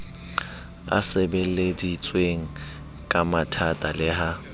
e sebeleditsweng kathata le ha